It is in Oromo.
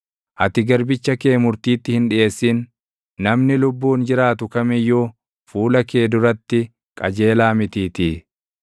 Ati garbicha kee murtiitti hin dhiʼeessin; namni lubbuun jiraatu kam iyyuu fuula kee duratti qajeelaa mitiitii.